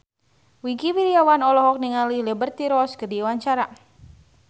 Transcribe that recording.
Wingky Wiryawan olohok ningali Liberty Ross keur diwawancara